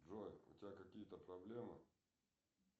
джой у тебя какие то проблемы